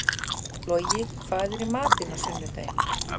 Logi, hvað er í matinn á sunnudaginn?